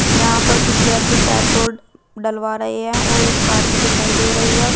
यहां पर कुछ व्यक्ति पेट्रोल डलवा रहे है और एक कार भी दिखाई दे रही है।